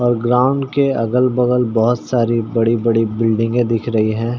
और ग्राउंड के अगल बगल बहोत सारी बड़ी-बड़ी बिल्डिंगे दिख रही है।